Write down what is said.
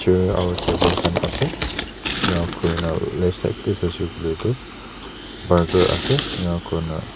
chair aro table khan ase enakurina left side tae saishey koilae tu burger ase enakurna--